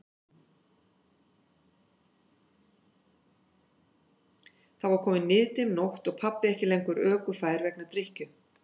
Þá var komin niðdimm nótt og pabbi ekki lengur ökufær vegna drykkju.